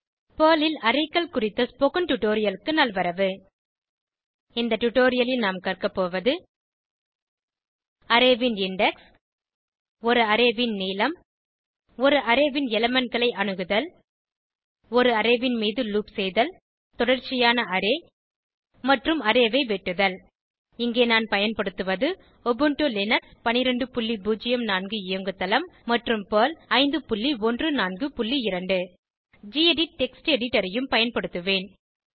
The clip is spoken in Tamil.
பெர்ல் ல் Arrayகள் குறித்த ஸ்போகன் டுடோரியலுக்கு நல்வரவு இந்த டுடோரியலில் நாம் கற்கபோவது அரே ன் இண்டெக்ஸ் ஒரு அரே ன் நீளம் ஒரு அரே ன் elementகளை அணுகுதல் ஒரு அரே ன் மீது லூப் செய்தல் தொடர்ச்சியான அரே மற்றும் அரே ஐ வெட்டுதல் இங்கே நான் பயன்படுத்துவது உபுண்டு லினக்ஸ் 1204 இயங்குதளம் மற்றும் பெர்ல் 5142 கெடிட் டெக்ஸ்ட் எடிட்டர் ஐயும் பயன்படுத்துவேன்